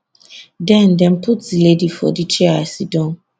den dem put di lady for di chair i siddon